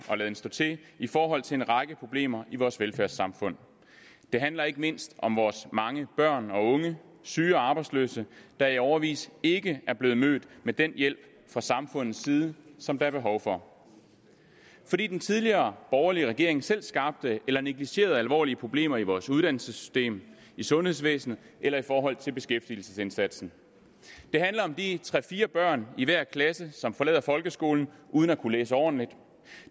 og laden stå til i forhold til en række problemer i vores velfærdssamfund det handler ikke mindst om vores mange børn og unge syge og arbejdsløse der i årevis ikke er blevet mødt med den hjælp fra samfundets side som der er behov for fordi den tidligere borgerlige regering selv skabte eller negligerede alvorlige problemer i vores uddannelsessystem i sundhedsvæsenet eller i forhold til beskæftigelsesindsatsen det handler om de tre fire børn i hver klasse som forlader folkeskolen uden at kunne læse ordentligt